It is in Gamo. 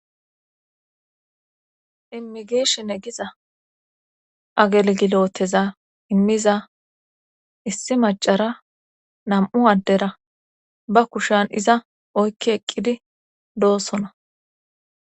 Immigishine giza agelgiloteza immiza issi macara nam'u addera ba kushan iza oykki eqqidi doosona